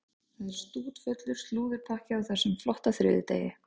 Það er stútfullur slúðurpakki á þessum flotta þriðjudegi.